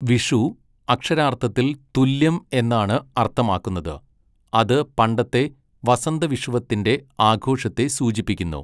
വിഷു, അക്ഷരാർത്ഥത്തിൽ 'തുല്യം' എന്നാണ് അർത്ഥമാക്കുന്നത്, അത് പണ്ടത്തെ വസന്തവിഷുവത്തിന്റെ ആഘോഷത്തെ സൂചിപ്പിക്കുന്നു.